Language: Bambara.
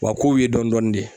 Wa k'ow ye dɔn dɔɔnin de.